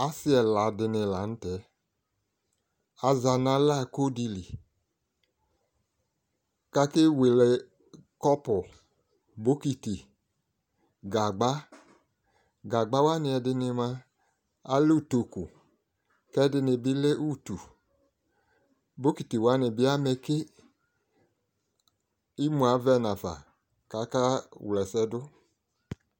Asi ɛla di ni la nʋ tɛ Aza nʋ alako di li kʋ akewele kɔpʋ, bokiti, gagba, gagbawa ni ɛdi ni moa alɛ ʋtokʋ, ɛdi ni bi lɛ utu Bokitiwa ni bi amɛke Imʋ avɛ nafa kʋ akawla ɛsɛ dʋ